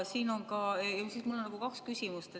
Mul on kaks küsimust.